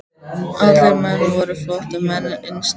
Allir menn væru flóttamenn innst inni.